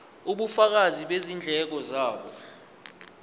ubufakazi bezindleko zabo